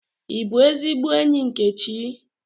I bu ezigbo enyi Nkechi?